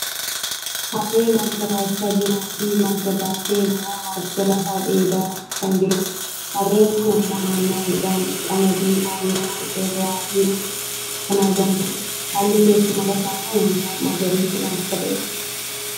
Harree marga baachaa jirtuufi marga baattee ammoo marga lafaa dheedaa kan jirudha. Harreen kun ammoo naannoo midhaan qamadii ooyiruu irra jirutti kan argamtudha. Haalli teessuma lafa kun ammoo magariisa kan uffatedha.